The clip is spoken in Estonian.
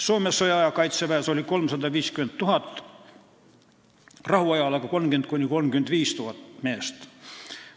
Soome sõjaaja kaitseväes oli 350 000, rahuajal aga 30 000 – 35 000 meest.